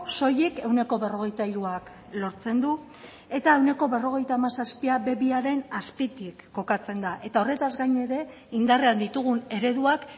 soilik ehuneko berrogeita hiruak lortzen du eta ehuneko berrogeita hamazazpia be bi aren azpitik kokatzen da eta horretaz gain ere indarrean ditugun ereduak